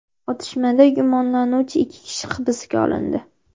Otishmada gumonlanuvchi ikki kishi hibsga olindi.